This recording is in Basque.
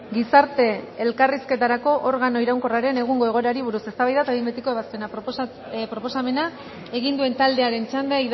gizarte elkarrizketarako organo iraunkorraren egungo egoerari buruz eztabaida eta behin betiko ebazpena proposamena egin duen taldearen txanda